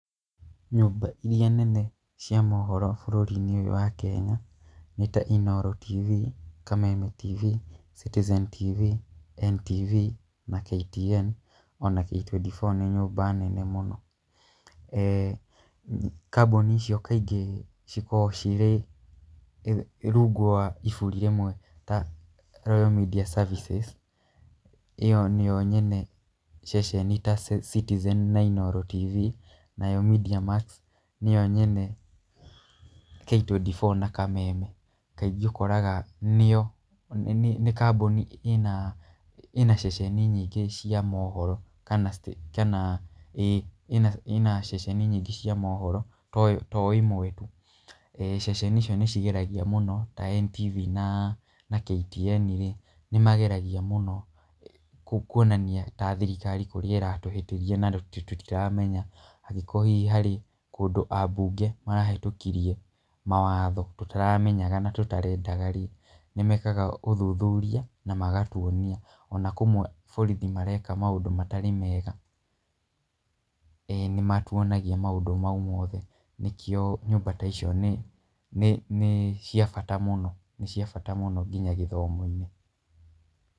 Nyũmba irĩa nene cia mohoro bũrũri-inĩ ũyũ wa Kenya nĩ ta, Inooro TV, Kameme TV, Citizen TV, NTV na KTN ona K24 nĩ nyũmba nene mũno. Ee kambuni icio kaingĩ cikoragwo cirĩ rungu wa iburi rĩmwe ta Royal Media Services, ĩyo nĩyo nyene ceceni ta Citizen TV na Inooro TV nayo Mediamax nĩyo nyene K24 na Kameme. Kaingĩ ũkoraga nĩo nĩ kambuni ĩna ceceni nyingĩ cia mohoro kana kana ĩĩna ceceni nyingĩ cia mohoro to ĩmwe tu. Ceceni icio nĩ cigeragia mũno ta NTV na KTN rĩ, nĩ mageragia muno kuonania ta thirikari kũrĩa ĩratũhĩtĩria na tũtiramenya. Angĩkorwo hihi harĩ kũndũ abunge marahĩtũkirie mawatho tũtaramenyaga na tũtarendaga rĩ, nĩ mekaga ũthuthuria na magatuonia. Ona kũmwe borithi mareka maũndũ matarĩ mega nĩ matuonagia maũndũ mau mothe. Nĩkĩo nyũmba ta icio nĩ cia bata mũno nginya gĩthomo-inĩ.